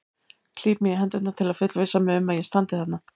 Klíp mig í hendurnar til að fullvissa mig um að ég standi þarna.